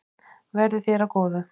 Verði þér að góðu.